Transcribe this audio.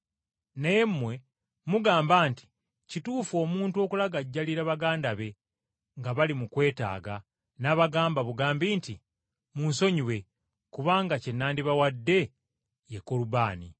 Naye mmwe mugamba nti kituufu omuntu okulagajjalira bakadde be nga bali mu kwetaaga n’abagamba bugambi nti, ‘Mmunsonyiwe, kubanga kye nandibawadde ye Korubaani .’”